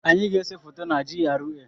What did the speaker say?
Anyị ga-ese foto na GRA.